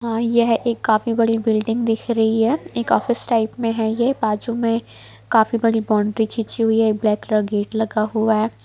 हाँ यह एक काफी बड़ी बिल्डिंग दिख रही है एक ऑफिस टाइप में है ये बाजू में काफी बड़ी बाउंड्री खींची हुई है एक ब्लैक कलर का गेट लगा हुआ है।